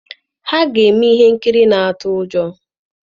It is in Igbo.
Ha ga-eme ihe nkiri na-atụ ụjọ.